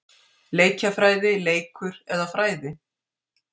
Leikjafræði- leikur eða fræði?